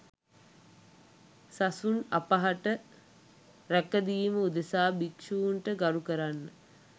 සසුන් අපහට රැකදීම උදෙසා භික්ෂූන්ට ගරු කරන්න